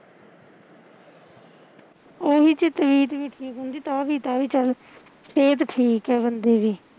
ਓਹੀ ਜੇ ਤਬੀਤ ਵੀ ਠੀਕ ਹੁੰਦੀ ਤਾਂ ਵੀ ਤਾ ਵੀ ਕਗਲ ਸੇਹਤ ਠੀਕ ਐ ਬੰਦੇ ਦੀ